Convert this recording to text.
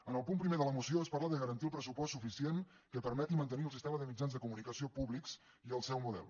en el punt primer de la moció es parla de garantir el pressupost suficient que permeti mantenir el sistema de mitjans de comunicació públics i el seu model